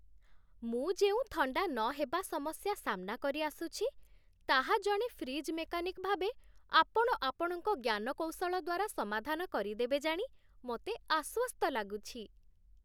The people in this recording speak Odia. ମୁଁ ଯେଉଁ ଥଣ୍ଡା ନହେବା ସମସ୍ୟା ସାମ୍ନା କରିଆସୁଛି, ତାହା, ଜଣେ ଫ୍ରିଜ୍ ମେକାନିକ ଭାବେ, ଆପଣ ଆପଣଙ୍କ ଜ୍ଞାନକୌଶଳ ଦ୍ୱାରା ସମାଧାନ କରିଦେବେ ଜାଣି ମୋତେ ଆଶ୍ୱସ୍ତ ଲାଗୁଛି।